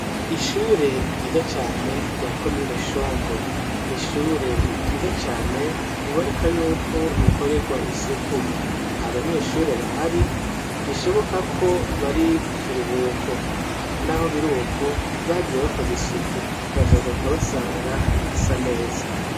Ishure ryiza cane rya komine shombo. Ni ishure ryiza cane, biboneka y'uko rikorerwa isuku. Nta banyeshure bahari, bishoboka ko bari mu kiruhuko. N'aho biriko, bagiye bakoze isuku, bazogaruka basanga hasa neza.